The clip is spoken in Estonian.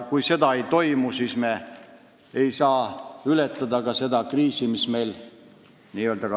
Kui seda ei toimu, siis me ei saa ka seda rahvastikukriisi ületada.